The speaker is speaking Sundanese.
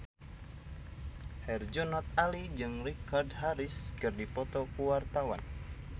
Herjunot Ali jeung Richard Harris keur dipoto ku wartawan